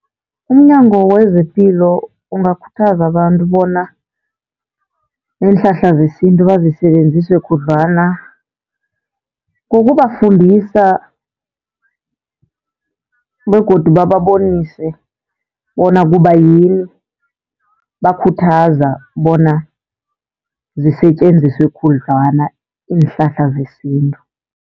UmNyango wezePilo ungakhuthaza abantu bona iinhlahla zesintu bazisebenzise khudlwana. Ngokubafundisa begodu bababonise bona kubayini bakhuthaza bona zisetjenziswe khudlwana iinhlahla zesintu.